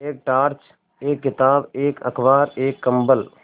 एक टॉर्च एक किताब एक अखबार एक कम्बल